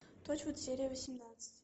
торчвуд серия восемнадцать